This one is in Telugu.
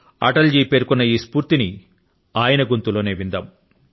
అటల్ గారు పేర్కొన్న ఈ స్ఫూర్తి ని ఆయన స్వరం లోనే విందాం